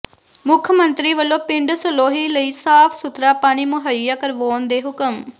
ਮੁੱਖ ਮੰਤਰੀ ਵੱਲੋਂ ਪਿੰਡ ਸਹੌਲੀ ਲਈ ਸਾਫ਼ ਸੁਥਰਾ ਪਾਣੀ ਮੁਹੱਈਆ ਕਰਵਾਉਣ ਦੇ ਹੁਕਮ